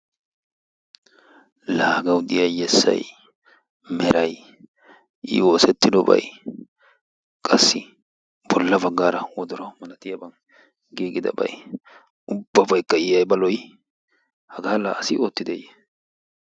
Laa hagawu diya yessay, meray, I oosettiddobay qassi bolla baggaara woddoro malatiyaban gigidabay ubbabaykka I aybba lo'i hagaa laa asi oottideeye?